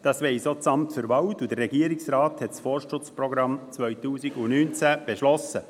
Das weiss auch das Amt für Wald (KAWA), und der Regierungsrat hat das Forstschutzprogramm 2019 beschlossen.